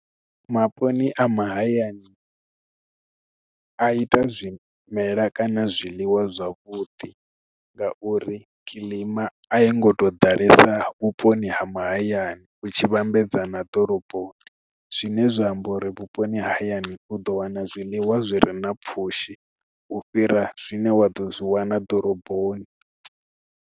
Maponi a mahayani a ita zwimela kana zwiliwa zwavhuḓi ngauri kilima a i ngo tou ḓalesa vhuponi ha mahayani u tshi vhambedzana ḓoroboni zwine zwa amba uri vhuponi hayani u ḓo wana zwiḽiwa zwi re na pfhushi u fhira zwine wa ḓo zwi wana ḓoroboni.